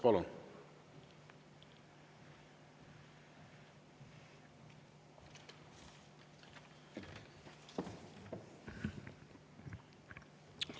Palun!